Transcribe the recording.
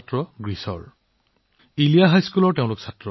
তাত তেওঁলোকে ইলিয়াৰ হাইস্কুলত পঢ়ে